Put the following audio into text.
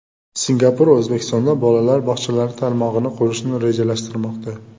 Singapur O‘zbekistonda bolalar bog‘chalari tarmog‘ini qurishni rejalashtirmoqda.